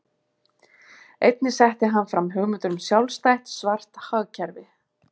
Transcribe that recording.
Einnig setti hann fram hugmyndir um sjálfstætt svart hagkerfi.